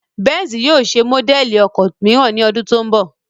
Benz yóò ṣe módẹ̀lì ọkọ̀ mìíràn ní ọdún tó ń bọ̀